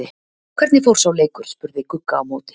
Hvernig fór sá leikur? spurði Gugga á móti.